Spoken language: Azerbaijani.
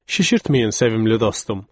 "Şişirtməyin, sevimli dostum.